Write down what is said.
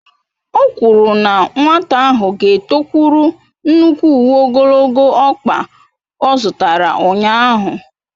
O kwuru na nwata ahụ ga-etokwuru nnukwu uwe ogologo ọkpa ọ zụtara ụnyahụ.